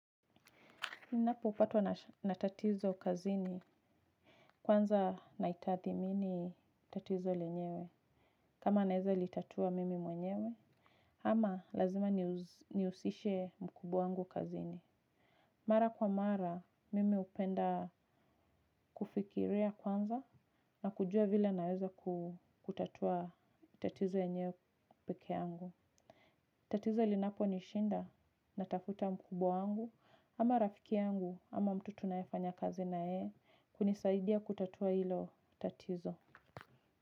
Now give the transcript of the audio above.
Ninapopatwa na tatizo kazini, kwanza naitathimini tatizo lenyewe. Kama naeza litatua mimi mwenyewe, ama lazima nihusishe mkubwa wangu kazini. Mara kwa mara, mimi hupenda kufikiria kwanza na kujua vile naeza kutatua tatizo enyewe peke yangu. Tatizo linaponishinda, natafuta mkubwa wangu, ama rafiki angu, ama mtu tunae fanyakazi na yeye kunisaidia kutatua hilo tatizo.